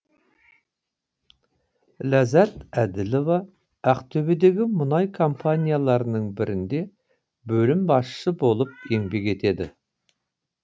ләззат әділова ақтөбедегі мұнай компанияларының бірінде бөлім басшысы болып еңбек етеді